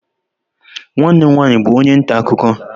Nwanne m nwanyị bụ onye nta akụkọ.